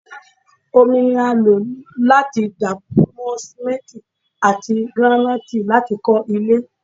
Omi ní a lo láti dapọ mọ simenti ati giranaiti lati kọ ilé